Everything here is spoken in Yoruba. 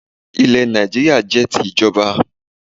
Ilẹ̀ Nàìjíríà jẹ́ ti ìjọba